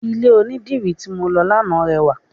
Ilẹ̀ onidírì tí mọ lọ lánàá rẹwà.